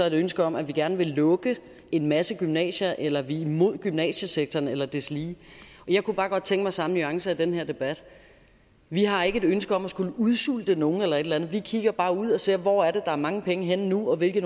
et ønske om at vi gerne vil lukke en masse gymnasier eller at vi er imod gymnasiesektoren eller deslige jeg kunne bare godt tænke mig samme nuancer i den her debat vi har ikke et ønske om at skulle udsulte nogen eller andet vi kigger bare ud og ser hvor der er mange penge henne nu og hvilke